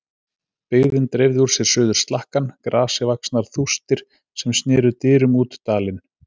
Byggðin dreifði úr sér suður slakkann, grasivaxnar þústir sem sneru dyrum út dalinn.